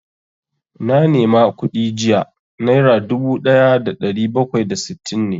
Na nema kuɗi jiya, naira dubu ɗaya da ɗari bakwai da sittin ne